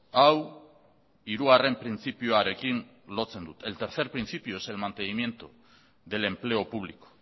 hau hirugarren printzipioarekin lotzen dut el tercer principio es el mantenimiento del empleo público